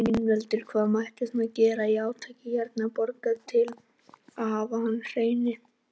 Ingveldur: Hvað mætti svona gera í átaki hérna í borginni til að hafa hana hreinni?